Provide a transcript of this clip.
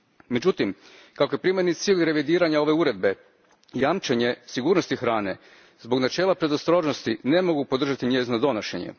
Međutim, kako je primarni cilj revidiranja ove Uredbe jamčenje sigurnosti hrane, zbog načela predostrožnosti ne mogu podržati njezino donošenje.